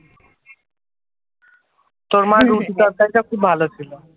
তোর মা খুব ভালো ছিল ।